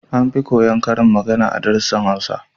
An fi koya karin magana a darussan Hausa